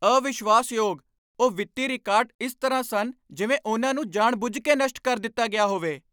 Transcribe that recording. ਅਵਿਸ਼ਵਾਸਯੋਗ! ਉਹ ਵਿੱਤੀ ਰਿਕਾਰਡ ਇਸ ਤਰ੍ਹਾਂ ਸਨ ਜਿਵੇਂ ਉਨ੍ਹਾਂ ਨੂੰ ਜਾਣਬੁੱਝ ਕੇ ਨਸ਼ਟ ਕਰ ਦਿੱਤਾ ਗਿਆ ਹੋਵੇ!